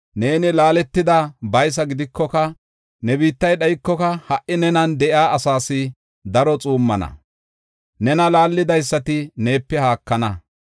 Neeni laaletada baysa gidikoka, ne biittay dhaykoka, ha77i nenan de7iya asaas daro xuummana; nena laallidaysati neepe haakana.